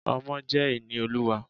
Ọmọ jẹ́ ìní Olúwa.